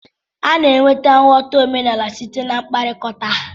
A na-enweta nghọta omenala site na mkpakọrịta.